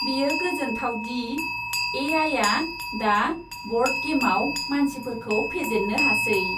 बेयो गोजोनथाव दि ए.आइ.आ दा ब'र्ड गेमआव मानसिफोरखौ फेजेननो हासै।